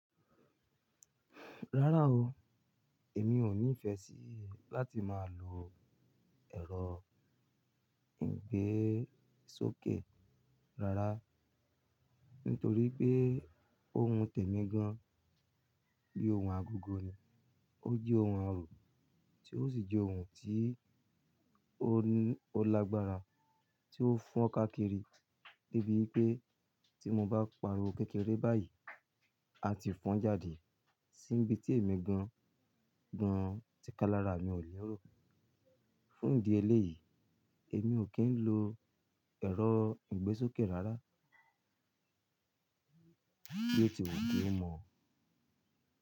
Rárá o, èmi ò ní ìfẹ́ sí láti máa lo ẹ̀rọ ìgbésókè rárá. Nítorí pé òun tẹ̀mí gan-an bíi ohun agogo ni. Ó jẹ́ ohun àrò tí ó sì jẹ́ ohun tí ó lagbára tí ó fọ́n ká kiri níbí pé tí mo bá pariwo kékeré báyìí, a ti fọ́n jáde sí ibi tí èmi gan-an tí ká lára mi ò ní rò. Fún ìdí eléyìí, èmi ò kí ń lo ẹ̀rọ ìgbésókè rárá bí ó ti wù kí ó mọ.